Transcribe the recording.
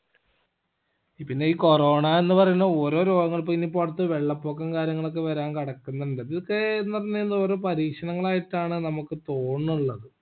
പിന്നെ ഈ corona എന്ന് പറയുന്ന ഓരോ രോഗങ്ങളും ഇന്നിപ്പോ അടുത്ത് ഈ വെള്ളപ്പൊക്കോകാര്യങ്ങളും ഒക്കെ വരാൻ കടക്കിന്നുണ്ട് ഇതൊക്കെ എന്നുപറഞ്ഞ കയിഞ്ഞ ഓരോ പരീക്ഷണങ്ങൾ ആയിട്ടാണ് നമ്മക് തോന്നണില്ലത്